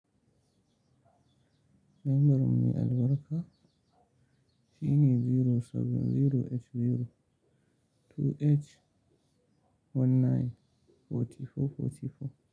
Lambar mai albarka shine zero seven zero eight zero two eight one nine forty-four forty-four.